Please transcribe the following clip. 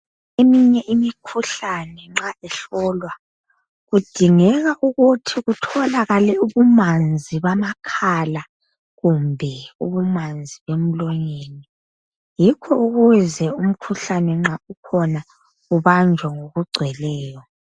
Eminye imikhuhlane nxa ihlolwa kudingeka ukuthi kutholakale ubumanzi bamakhala kumbe ubumanzi bemlonyeni. Yikho ukuze umkhuhlane nxa ukhona ubanjwe ngokugcweleyo.